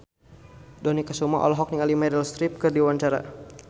Dony Kesuma olohok ningali Meryl Streep keur diwawancara